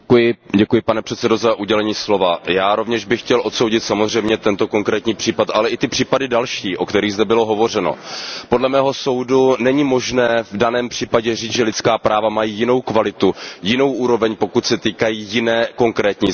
Pane předsedající, já bych rovněž chtěl odsoudit samozřejmě tento konkrétní případ, ale i ty případy další, o kterých zde bylo hovořeno. Podle mého soudu není možné v daném případě říct, že lidská práva mají jinou kvalitu, jinou úroveň, pokud se týkají jiné konkrétní země.